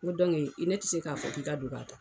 N go ne te se ka fɔ k'i ka don ka